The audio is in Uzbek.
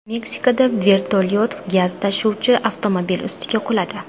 Meksikada vertolyot gaz tashuvchi avtomobil ustiga quladi.